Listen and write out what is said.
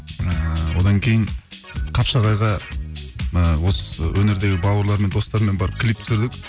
ііі одан кейін қапшағайға ы осы өнердегі бауырлармен достармен барып клип түсірдік